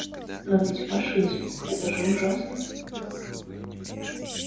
но ведь фашизм это же ужасно